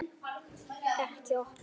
Ekki opna